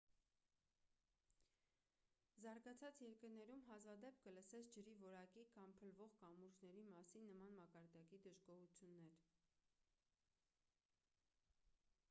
զարգացած երկրներում հազվադեպ կլսես ջրի որակի կամ փլվող կամուրջների մասին նման մակարդակի դժգոհություններ